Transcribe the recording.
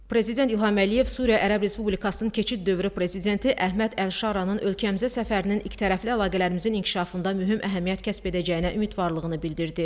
Prezident İlham Əliyev Suriya Ərəb Respublikasının keçid dövrü prezidenti Əhməd Əlşaranın ölkəmizə səfərinin ikitərəfli əlaqələrimizin inkişafında mühüm əhəmiyyət kəsb edəcəyinə ümidvarlığını bildirdi.